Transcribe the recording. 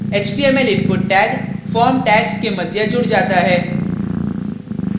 html input tag form tags के मध्य जुड़ जाता है